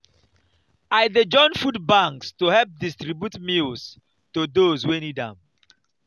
i dey join food banks to help distribute meals to those wey need am.